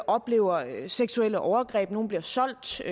oplever seksuelle overgreb nogle bliver solgt til